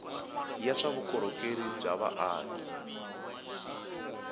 ya swa vukorhokeri bya vaaki